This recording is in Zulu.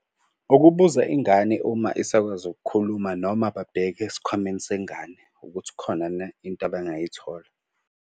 Ukubuza ingane uma isakwazi ukukhuluma noma babheke esikhwameni sengane ukuthi khonana into abangayithola.